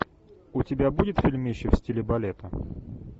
у тебя будет фильмище в стиле балета